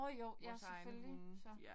Nåh jo. Ja selvfølgelig så